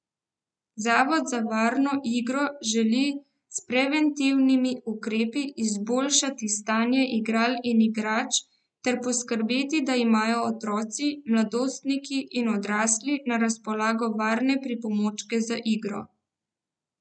Zavod za varno igro želi s preventivnimi ukrepi izboljšati stanje igral in igrač ter poskrbeti, da imajo otroci, mladostniki in odrasli na razpolago varne pripomočke za igro.